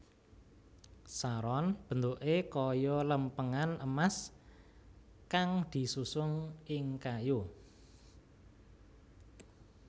Saron bentuké kaya lèmpèngan emas kang disusun ing kayu